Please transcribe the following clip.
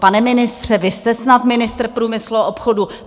Pane ministře, vy jste snad ministr průmyslu a obchodu!